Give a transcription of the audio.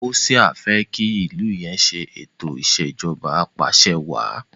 Hoṣea fe ki ilú yén se eto Ìṣèjọba Apàṣẹwàá